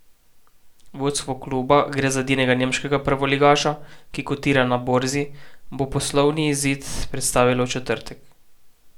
Vodstvo kluba, gre za edinega nemškega prvoligaša, ki kotira na borzi, bo poslovni izid predstavilo v četrtek.